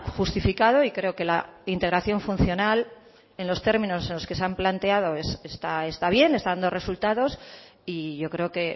justificado y creo que la integración funcional en los términos en los que se han planteado está bien está dando resultados y yo creo que